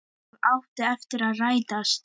Það átti eftir að rætast.